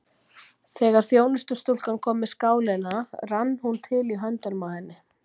Þegar þjónustustúlkan kom með skálina rann hún til í höndunum á henni.